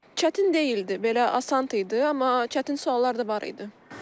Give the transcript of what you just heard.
Çətin deyildi, belə asan idi, amma çətin suallar da var idi.